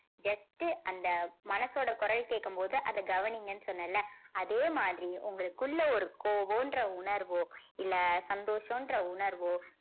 just உ அந்த மனசோட குரல் கேக்கும் போது அத கவனிங்கன்னு சொன்னேன்ல அதே மாதிரி உங்களுக்குள்ள ஒரு கோபம்ன்ற உணர்வோ இல்ல சந்தோஷன்ற உணர்வோ